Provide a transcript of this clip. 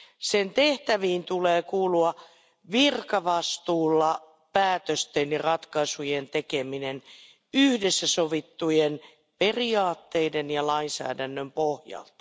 Sen tehtäviin tulee kuulua virkavastuulla päätösten ja ratkaisujen tekeminen yhdessä sovittujen periaatteiden ja lainsäädännön pohjalta.